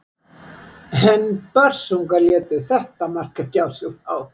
En Börsungar létu þetta mark ekki á sig fá.